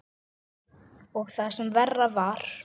Og það sem verra var.